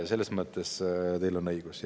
Selles mõttes on teil õigus.